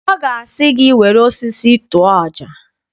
Ọ ga-asị gị, were osisi tụọ ọja!